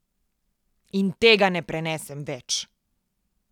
In tega ne prenesem več.